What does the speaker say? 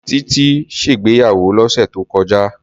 Tití ṣègbéyàwó lọ́sẹ̀ tó kọjá.